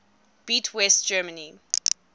beat west germany